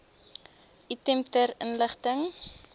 item ter inligting